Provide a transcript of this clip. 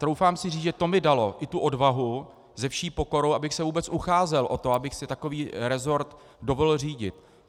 Troufám si říct, že to mi dalo i tu odvahu se vší pokorou, abych se vůbec ucházel o to, abych si takový rezort dovolil řídit.